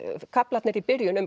kaflarnir í byrjun um